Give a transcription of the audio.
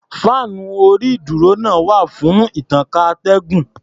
Fáànú orí-ìdúró náà wà fún ìtànká atẹ́gùn.